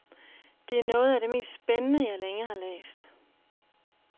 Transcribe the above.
Det er noget af det mest spændende jeg længe har læst.